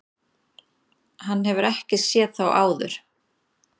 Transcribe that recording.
Hann hefur ekki séð þá áður.